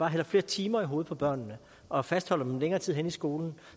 hælder flere timer i hovedet på børnene og fastholder dem længere tid henne i skolen